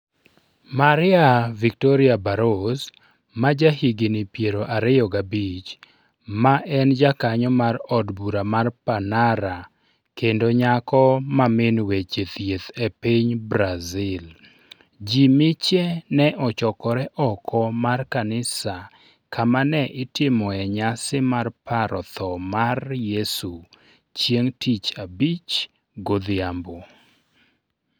Maria Victoria Barros, ma jahigini piero ariyo gabich, ma en jakanyo mar od bura mar Panara kendo nyako ma min min min weche thieth e piny Brazil. Ji miche ne ochokore oko mar kanisa kama ne itimoe nyasi mar paro tho mar Yesu chieng' Tich Abich godhiambo.